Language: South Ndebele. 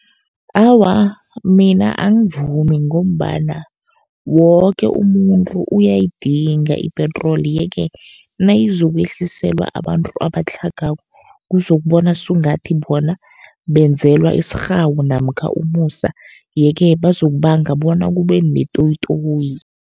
Awa, mina angivumi ngombana woke umuntu uyayidinga ipetroli. Ye-ke nayizokwehliselwa abantu abatlhagako, kuzokubona sungathi bona benzelwa isirhawu namkha umusa. Ye-ke bazokubanga bona kube netoyitoyi.